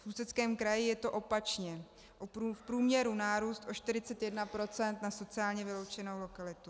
V Ústeckém kraji je to opačně - v průměru nárůst o 41 % na sociálně vyloučenou lokalitu.